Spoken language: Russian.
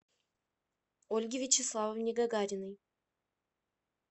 ольге вячеславовне гагариной